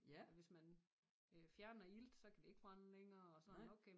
Og hvis man øh fjerner ilt så kan det ikke brænde længere og sådan okay